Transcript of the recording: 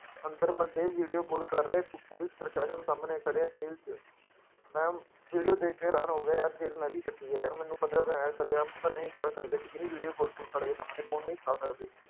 ਅੰਦਰ ਬੰਦੇ video call ਕਰ ਰਹੇ ਪੁ ਪੁਲਿਸ ਪ੍ਰਸ਼ਾਸ਼ਨ ਸਾਹਮਣੇ ਖੜੇ ਆ ਜ਼ੇਲ ਚ, ਮੈਂ video ਦੇਖ ਕੇ ਹੈਰਾਨ ਹੋ ਗਿਆ ਯਾਰ ਜ਼ੇਲ ਮੈਂ ਵੀ ਕੱਟੀ ਹੈ ਯਾਰ ਮੈਨੂੰ ਪਤਾ ਹੈ ਸ਼ਰੇਆਮ ਤਾਂ ਨਹੀਂ ਕਰ ਸਕਦੇ ਠੀਕ ਨੀ video call ਪੁਲਿਸ ਵਾਲੇ ਕੇ ਸਾਹਮਣੇ phone ਨਹੀਂ ਚਲਾ ਸਕਦੇ।